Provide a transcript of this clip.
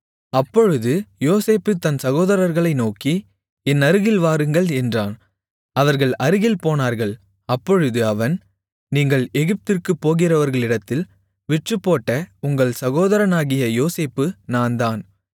அப்பொழுது யோசேப்பு தன் சகோதரர்களை நோக்கி என்னருகில் வாருங்கள் என்றான் அவர்கள் அருகில்போனார்கள் அப்பொழுது அவன் நீங்கள் எகிப்திற்குப் போகிறவர்களிடத்தில் விற்றுப்போட்ட உங்கள் சகோதரனாகிய யோசேப்பு நான்தான்